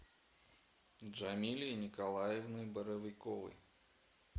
джамилей николаевной боровиковой